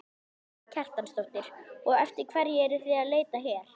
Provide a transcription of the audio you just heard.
Karen Kjartansdóttir: Og eftir hverju eruð þið að leita hér?